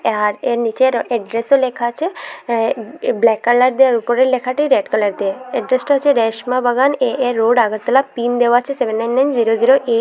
আর এর নিচে র এড্রেসও লেখা আছে অ্যা ব্ল্যাক কালার দেওয়া উপরের লেখাটি রেড কালার দিয়ে এড্রেসটা আছে Reshma Bagan A A road Agartala pin দেওয়া আছে seven nine nine zero zero এ।